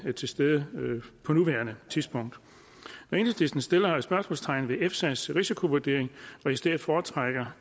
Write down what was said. er til stede på nuværende tidspunkt når enhedslisten sætter spørgsmålstegn ved efsas risikovurdering og i stedet foretrækker